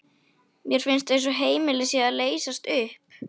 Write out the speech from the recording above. Mér finnst eins og heimilið sé að leysast upp.